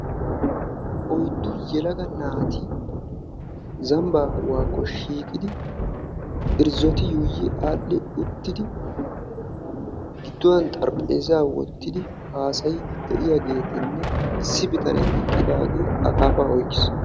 oyddu yelaga naati zambaappe xaphuwaakko shiiqidi irzzoti yuuyu aadhi uttidi giduwan xarpheezaa wotidi haasayiidi de'iyaageetinne issi bitanee akaafaa oykkiis.